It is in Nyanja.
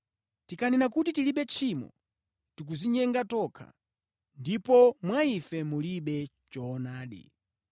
Tikanena kuti tilibe tchimo, tikudzinyenga tokha ndipo mwa ife mulibe choonadi.